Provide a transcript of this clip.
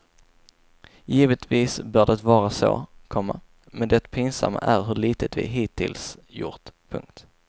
Givetvis bör det vara så, komma men det pinsamma är hur litet vi hittills gjort. punkt